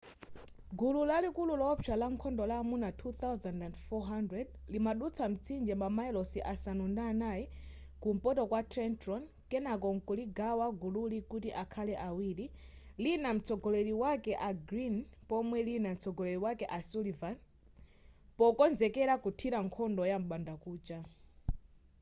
gulu lalikulu lowopsa la nkhondo la amuna 2,400 limadutsa mtsinje mamayilosi asanu ndi anayi kumpoto kwa trenton kenako mkuligawa gulili kuti akhale awiri lina mtsogoleri wake a greene pomwe lina mtsogoleri wake a sullivan pokonzekera kuthira nkhondo yam'bandakucha